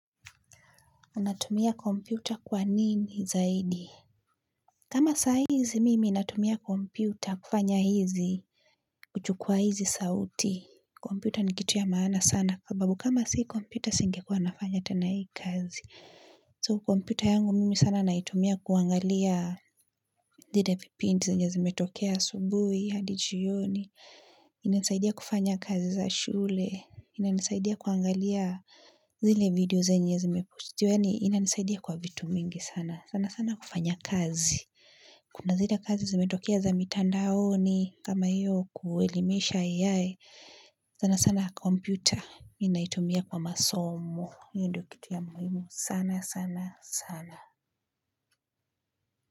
Unatumia komputa kwa nini zaidi? Kama saa hizi mimi natumia kompyuta kufanya hizi, kuchukua hizi sauti kompyuta ni kitu ya maana sana. Sababu kama si kompyuta singekuwa nafanya tena hii kazi. So kompyuta yangu, mimi sana naitumia kuangalia zile vipindi zenye zimetokea asubuhi, hadi jioni. Inanisaidia kufanya kazi za shule. Inanisaidia kuangalia zile video zenye zimepostiwa. Yaani inanisaidia kwa vitu mingi sana sana sana kufanya kazi. Kuna zile kazi zimetokea za mitandaoni kama hiyo kuelimisha AI sana sana kompyuta ninaitumia kwa masomo ndiyo kitu ya muhimu sana sana sana.